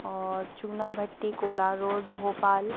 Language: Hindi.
और चुना भट्टी कोला रोड भोपाल--